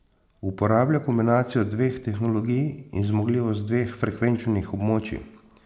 Uporablja kombinacijo dveh tehnologij in zmogljivost dveh frekvenčnih območij.